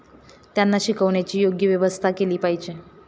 त्यांना शिकविण्याची योग्य व्यवस्था केली पाहिजे.